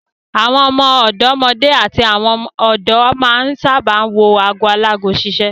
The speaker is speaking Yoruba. Àwọn ọ̀dọ́mọdé àti àwọn ọ̀dọ́ máa ń sábà wo ago alago ṣiṣẹ́.